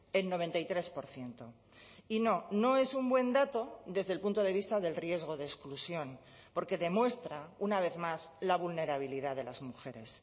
el noventa y tres por ciento y no no es un buen dato desde el punto de vista del riesgo de exclusión porque demuestra una vez más la vulnerabilidad de las mujeres